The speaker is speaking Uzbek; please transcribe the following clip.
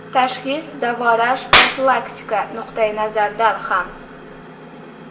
Tashxis, davolash, profilaktika nuqtayi nazaridan ham.